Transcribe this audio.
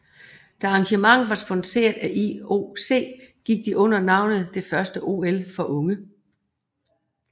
Da arrangementet var sponsoreret af IOC gik de under navnet det første OL for unge